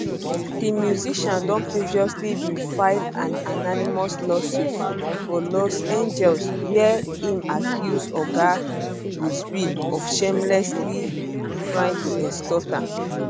di musician um don previously bin file an anonymous lawsuit for los angeles wia im accuse oga buzbee of shamelessly um trying to extort am